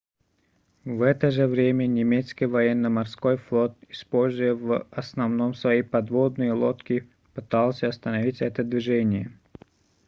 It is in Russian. в это же время немецкий военно-морской флот используя в основном свои подводные лодки пытался остановить это движение